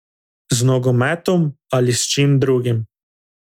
Z nogometom ali s čim drugim.